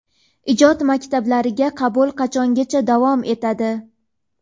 Ijod maktablariga qabul qachongacha davom etadi?.